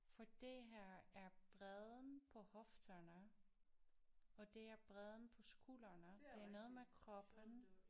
For det her er bredden på hofterne og det er bredden på skulderne det er noget med kroppen